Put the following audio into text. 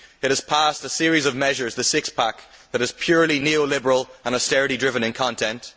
It has passed a series of measures, the six pack, that is purely neo liberal and austerity driven in content.